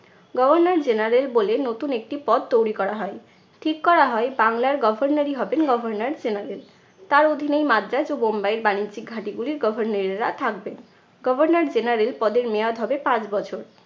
governor general বলে নতুন একটি পদ তৈরি করা হয়। ঠিক করা হয় বাংলার governor ই হবেন governor general তার অধীনেই মাদ্রাজ ও বোম্বাইয়ের বাণিজ্যিক ঘাঁটিগুলির governor এরা থাকবেন. governor general পদের মেয়াদ হবে পাঁচ বছর।